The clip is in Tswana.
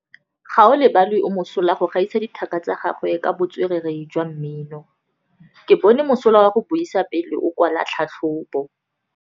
Gaolebalwe o mosola go gaisa dithaka tsa gagwe ka botswerere jwa mmino. Ke bone mosola wa go buisa pele o kwala tlhatlhobô.